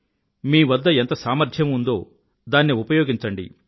మీవద్ద ఎంత సామర్ధ్యం ఉందో దాన్ని ఉపయోగించండి